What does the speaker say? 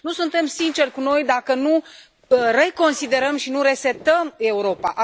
Nu suntem sinceri cu noi dacă nu reconsiderăm și nu resetăm Europa.